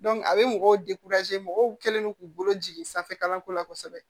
a bɛ mɔgɔw mɔgɔw kɛlen don k'u bolo jigin sanfɛ kalanso la kosɛbɛ